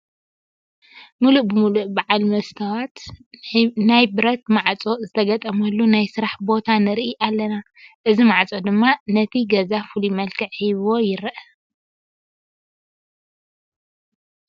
ሙሉእ ብሙሉእ በዓል መስተዋት ናይ ብረት ማዕፆ ዝተገጠመሉ ናይ ስራሕ ቦታ ንርኢ ኣለና፡፡ እዚ ማዕፆ ድማ ነቲ ገዛ ፍሉይ መልክዕ ሂብዎ ይርአ፡፡